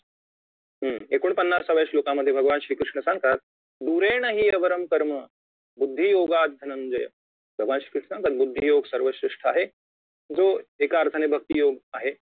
एकोणपन्नासाव्या श्लोकामध्ये भगवान श्री कृष्ण सांगतात दुरेंनहि अवर्रम कर्म बुद्धी योग धनंजय भगवान श्री कृष्ण तर बुद्धियोग सर्वश्रेष्ठ आहे जो एका अर्थाने भक्तियोग आहे